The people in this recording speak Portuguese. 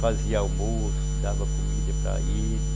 Fazia almoço, dava comida para ele.